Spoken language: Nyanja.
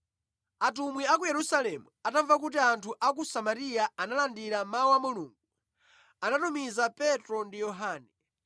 Atumwi a ku Yerusalemu atamva kuti anthu a ku Samariya analandira Mawu a Mulungu, anatumiza Petro ndi Yohane.